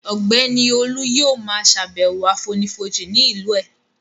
Ọ̀gbẹ́ni Olú yóò ma ṣàbẹ̀wọ̀ àfonífojì ní ìlú ẹ̀